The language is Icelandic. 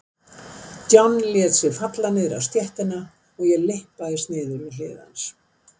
John lét sig falla niður á stéttina og ég lyppaðist niður við hlið hans.